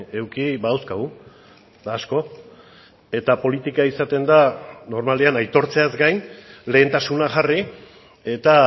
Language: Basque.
eduki badauzkagu eta asko eta politika izaten da normalean aitortzeaz gain lehentasuna jarri eta